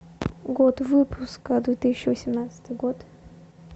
год выпуска две тысячи восемнадцатый год